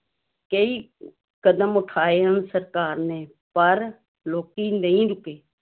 ਕਈ ਕਦਮ ਉਠਾਏ ਹਨ ਸਰਕਾਰ ਨੇ, ਪਰ ਲੋਕੀ ਨਹੀਂ ਰੁੱਕੇ।